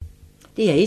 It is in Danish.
DR1